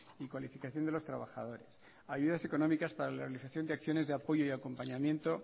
y cualificación de los trabajadores ayudas económicas para la realización de acciones de apoyo y acompañamiento